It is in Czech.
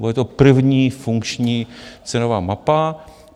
Bude to první funkční cenová mapa.